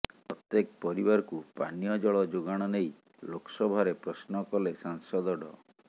ପ୍ରତ୍ୟେକ ପରିବାରକୁ ପାନୀୟ ଜଳ ଯୋଗାଣ ନେଇ ଲୋକସଭାରେ ପ୍ରଶ୍ନ କଲେ ସାଂସଦ ଡ